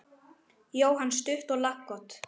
Jóhann: Stutt og laggott?